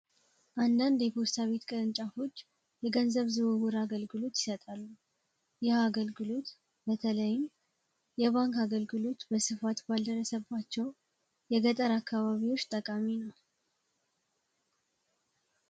አንዳንድ የፖስታ ቅርንጫፎች የገንዘብ ልውውጥ አገልግሎት ይሰጣሉ። ይህ አገልግሎት በተለይም የባንክ አገልግሎት በስፋት ባልደረሰባቸው የገጠር አካባቢዎች ጠቃሚ ነው።